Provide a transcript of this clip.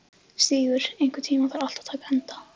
Stígur, einhvern tímann þarf allt að taka enda.